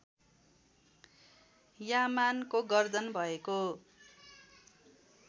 यामानको गर्दन भएको